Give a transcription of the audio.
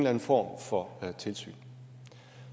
anden form for tilsyn